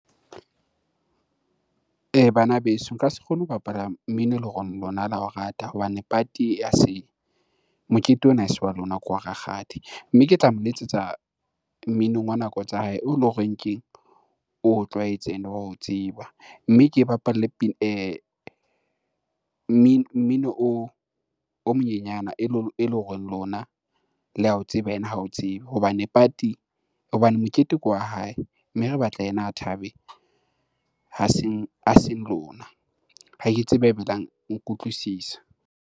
Bana beso nka se kgone ho bapala mmino eleng hore lona la o rata hobane party ha se, mokete ona a se wa lona ke wa rakgadi. Mme ke tla mo letsetsa mminong wa nako tsa hae oo leng hore keng? O tlwaetse ene wa o tseba. Mme ke bapale mmino o monyenyana eleng hore lona le ya o tseba ena ha o tsebe. Hobane party, hobane mokete ke wa hae, mme re batla ena a thabe ha seng lona. Ha ke tsebe ha eba la nkutlwisisa.